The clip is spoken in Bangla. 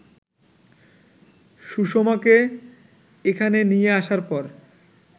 সুষমাকে এখানে নিয়ে আসার পর